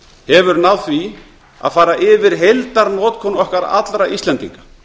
hefur náð því að fara yfir heildarnotkun okkar allra íslendinga